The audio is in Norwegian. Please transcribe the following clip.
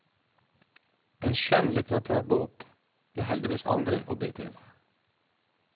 En skjønnlitterær bok blir heldigvis aldri objektiv.